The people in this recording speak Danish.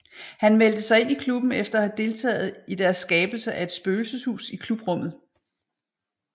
Han meldte sig ind i klubben efter at have deltaget i deres skabelse af et spøgelseshus i klubrummet